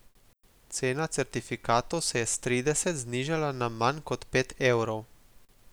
Cena certifikatov se je s trideset znižala na manj kot pet evrov.